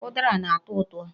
Ụdara na-atọ ụtọ.